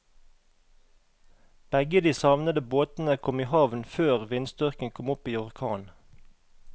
Begge de savnede båtene kom i havn før vindstyrken kom opp i orkan.